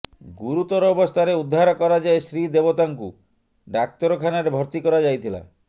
ଗୁରୁତର ଅବସ୍ଥାରେ ଉଦ୍ଧାର କରାଯାଇ ଶ୍ରୀ ଦେବତାଙ୍କୁ ଡାକ୍ତରଖାନାରେ ଭର୍ତ୍ତି କରାଯାଇଥିଲା